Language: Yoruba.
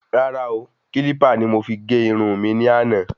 Rárá o,Kílípà ni mo fi gé irun mi ní àná